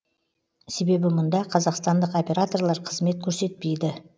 себебі мұнда қазақстандық операторлар қызмет көрсетпейді